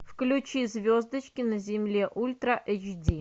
включи звездочки на земле ультра эйч ди